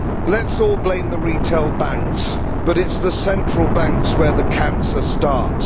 Let us all blame the retail banks but it is the central banks where the cancer starts.